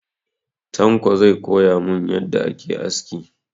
Tanko zai koya mun yadda ake aski.